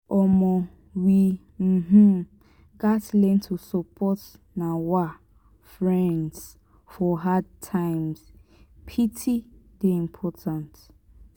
um we um gats learn to support um friends for hard times; pity dey important.